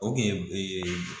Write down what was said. O kun ye